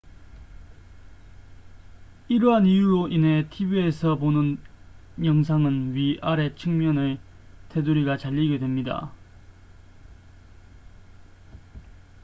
이러한 이유로 인해 tv에서 보는 영상은 위 아래 측면의 테두리가 잘리게 됩니다